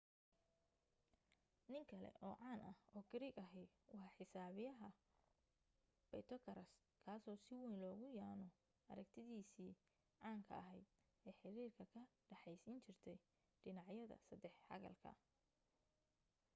nin kale oo caan ah oo giriig ahi waa xisaabiya baytogaraas kaaso si wayn loogu yaaano aragtidiisii caanka ahayd ee xiriirka ka dhexaysiin jirtay dhinacyada saddex xagalka